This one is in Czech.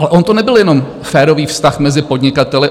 Ale on to nebyl jenom férový vztah mezi podnikateli.